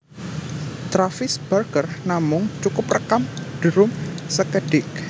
Travis Barker namung cukup rékam drum sékedhik